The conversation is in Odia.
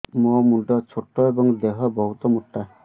ମୋ ମୁଣ୍ଡ ଛୋଟ ଏଵଂ ଦେହ ବହୁତ ମୋଟା